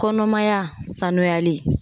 Kɔnɔmaya sanuyali